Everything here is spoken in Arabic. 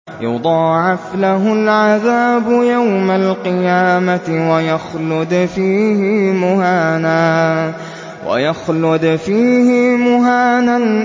يُضَاعَفْ لَهُ الْعَذَابُ يَوْمَ الْقِيَامَةِ وَيَخْلُدْ فِيهِ مُهَانًا